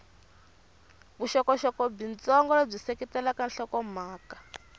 vuxokoxoko byitsongo lebyi seketelaka nhlokomhaka